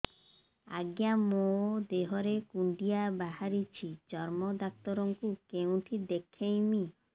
ଆଜ୍ଞା ମୋ ଦେହ ରେ କୁଣ୍ଡିଆ ବାହାରିଛି ଚର୍ମ ଡାକ୍ତର ଙ୍କୁ କେଉଁଠି ଦେଖେଇମି